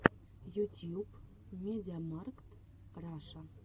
ютьюб медиамаркт раша